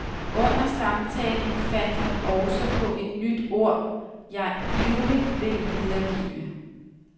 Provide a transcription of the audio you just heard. Under samtalen fandt han også på et nyt ord, jeg ivrigt vil videregive.